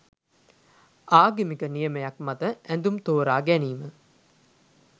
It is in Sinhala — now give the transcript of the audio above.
ආගමික නියමයක් මත ඇඳුම් තෝරා ගැනීම